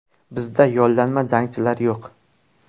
Bizda yollanma jangchilar yo‘q.